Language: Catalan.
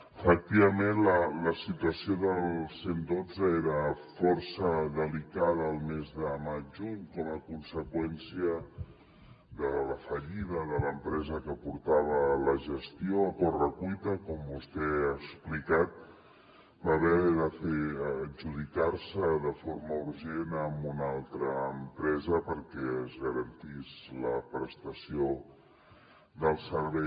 efectivament la situació del cent i dotze era força delicada el mes de maig juny com a conseqüència de la fallida de l’empresa que portava la gestió a correcuita com vostè ha explicat va haver d’adjudicar se de forma urgent a una altra empresa perquè es garantís la prestació del servei